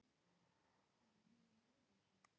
Netviðskipti alltaf áhættusöm